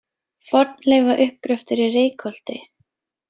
Fornleifauppgröftur í Reykholti.